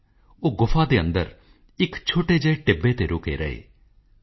O my fellow citizens in giving you receive happiness